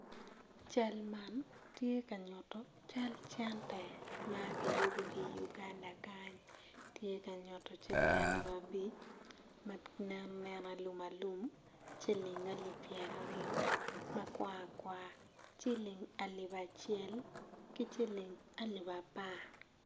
Cal man tye ka nyutu cal cene ma kiyubu ki i Uganda kany tye ka nyutu ciling alip abic ma nen nen alum alum ciling alip pyerayo ma kwar kwar ciling alip acel ki ciling alip apar